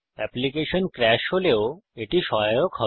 application crash হলেও এটি সহায়ক হবে